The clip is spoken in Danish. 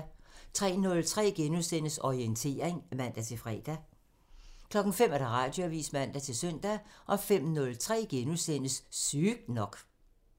03:03: Orientering *(man-fre) 05:00: Radioavisen (man-søn) 05:03: Sygt nok *(man)